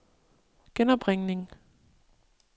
genopringning